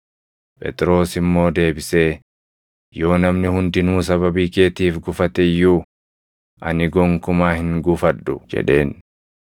Phexros immoo deebisee, “Yoo namni hundinuu sababii keetiif gufate iyyuu ani gonkumaa hin gufadhu” jedheen.